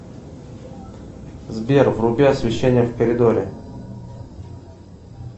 сбер вруби освещение в коридоре